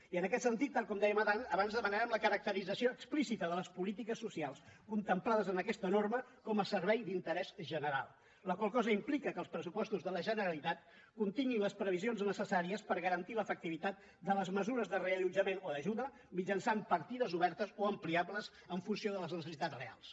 i en aquest sentit tal com dèiem abans demanarem la caracterització explícita de les polítiques socials contemplades en aquesta norma com a servei d’interès general la qual cosa implica que els pressupostos de la generalitat continguin les previsions necessàries per garantir l’efectivitat de les mesures de reallotjament o d’ajuda mitjançant partides obertes o ampliables en funció de les necessitats reals